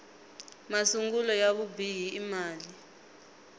masungulo ya vubihi i mali